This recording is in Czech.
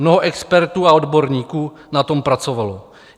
Mnoho expertů a odborníků na tom pracovalo.